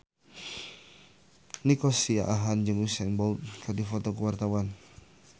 Nico Siahaan jeung Usain Bolt keur dipoto ku wartawan